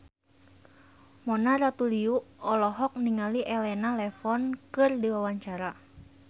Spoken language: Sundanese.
Mona Ratuliu olohok ningali Elena Levon keur diwawancara